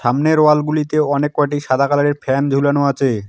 সামনের ওয়ালগুলিতে অনেককটি সাদা কালারের ফ্যান ঝোলানো আছে।